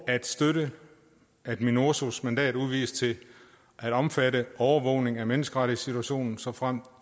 at støtte at minurso’s mandat udvides til at omfatte overvågning af menneskerettighedssituationen såfremt